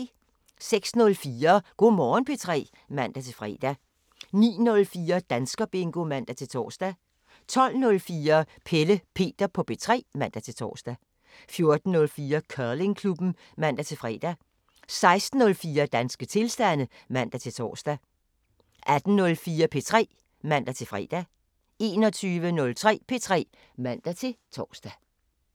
06:04: Go' Morgen P3 (man-fre) 09:04: Danskerbingo (man-tor) 12:04: Pelle Peter på P3 (man-tor) 14:04: Curlingklubben (man-fre) 16:04: Danske tilstande (man-tor) 18:04: P3 (man-fre) 21:03: P3 (man-tor)